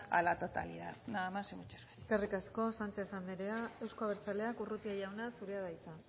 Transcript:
la totalidad nada más y muchas gracias eskerrik asko sánchez anderea euzko abertzaleak urrutia jauna zurea da hitza